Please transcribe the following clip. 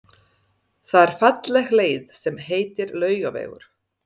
Það er falleg leið sem heitir Laugavegur.